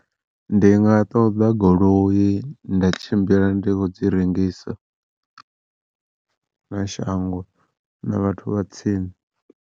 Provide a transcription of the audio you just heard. Ndi nga ṱoḓa goloi nda tshimbila ndi kho dzi rengisa na shango na vhathu vha tsini.